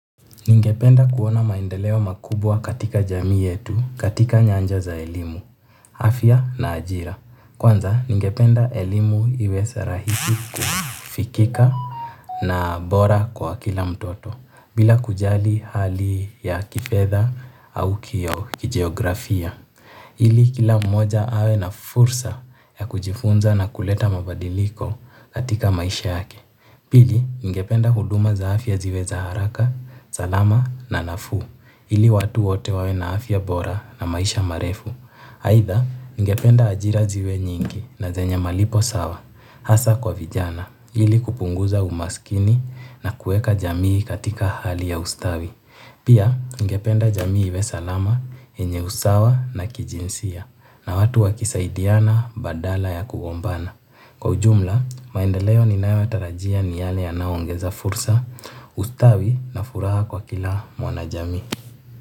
Ningependa kuona maendeleo makubwa katika jamii yetu, katika nyanja za elimu, afya na ajira. Kwanza, ningependa elimu iwe rahisi kufikika na bora kwa kila mtoto, bila kujali hali ya kifedha au kijeografia. Ili kila mmoja awe na fursa ya kujifunza na kuleta mabadiliko katika maisha yake. Pili, ningependa huduma za afya ziwe za haraka, salama na nafuu, ili watu wote wawe na afya bora na maisha marefu. Aidha, ningependa ajira ziwe nyingi na zenye malipo sawa, hasa kwa vijana, ili kupunguza umaskini na kueka jamii katika hali ya ustawi. Pia, ningependa jamii iwe salama, yenye usawa na kijinsia, na watu wakisaidiana badala ya kugombana. Kwa ujumla, maendeleo ninayotarajia ni yale yanaongeza fursa, ustawi na furaha kwa kila mwanajamii.